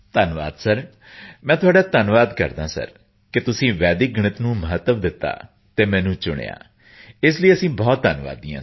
ਧੰਨਵਾਦ ਸਰ ਮੈਂ ਤੁਹਾਡਾ ਧੰਨਵਾਦ ਕਰਦਾ ਹਾਂ ਸਰ ਕਿ ਤੁਸੀਂ ਵੈਦਿਕ ਗਣਿਤ ਨੂੰ ਮਹੱਤਵ ਦਿੱਤਾ ਅਤੇ ਮੈਨੂੰ ਚੁਣਿਆ ਸਰ ਇਸ ਲਈ ਅਸੀਂ ਬਹੁਤ ਧੰਨਵਾਦੀ ਹਾਂ